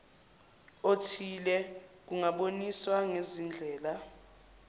othile kungaboniswa ngezindlela